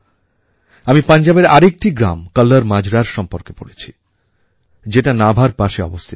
আমি পাঞ্জাবের আরেকটি গ্রাম কল্লর মাজরার সম্বন্ধে পড়েছি যেটা নাভার পাশে অবস্থিত